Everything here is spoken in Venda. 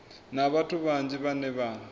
na vhathu vhanzhi vhane vha